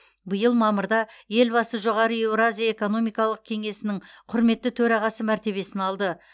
биыл мамырда елбасы жоғары еуразия экономикалық кеңесінің құрметті төрағасы мәртебесін алды